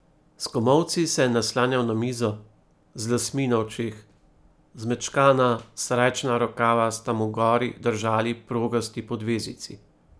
S komolci se je naslanjal na mizo, z lasmi na očeh, zmečkana srajčna rokava sta mu gori držali progasti podvezici.